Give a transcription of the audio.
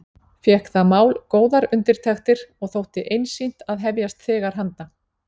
Fékk það mál góðar undirtektir og þótti einsýnt að hefjast þegar handa.